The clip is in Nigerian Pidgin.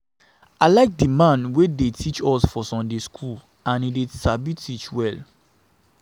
I like the man wey dey teach us for Sunday school and he sabi teach well